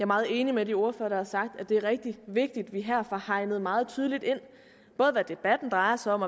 meget enig med de ordførere der har sagt at det er rigtig vigtigt at vi her får hegnet meget tydeligt ind både hvad debatten drejer sig om